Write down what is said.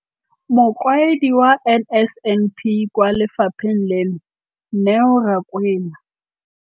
Mokaedi wa NSNP kwa lefapheng leno, Neo Rakwena.